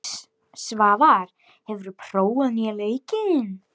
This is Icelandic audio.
Svavar, hefur þú prófað nýja leikinn?